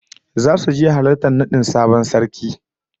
Zasu je halartar nadin sabon sarki